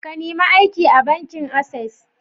Ka nime aiki a bankin Access?